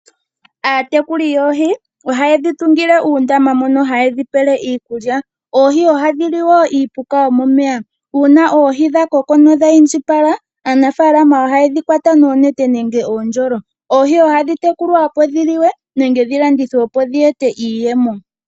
Aatekuli yoohi ohaye dhi tungile uundama mono haye dhi pele iikulya. Oohi ohadhi li wo iipuka yomomeya. Uuna oohi dha koko nodha indjipala, aanafaalama ohaye dhi kwata noonete nenge uundjolo. Oohi ohadhi tekulwa, opo dhi liwe nenge dhi landithwe, opo dhi ete iiyemo.